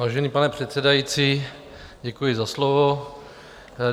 Vážený pane předsedající, děkuji za slovo.